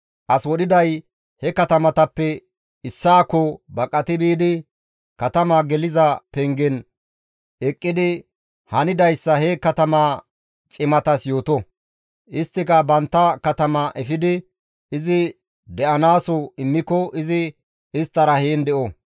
As wodhiday he katamatappe issaakko baqati biidi katama geliza pengen eqqidi, hanidayssa he katama cimatas yooto. Isttika bantta katama efidi izi de7anaaso immiko izi isttara heen de7o.